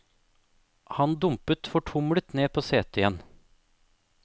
Han dumpet fortumlet ned på setet igjen.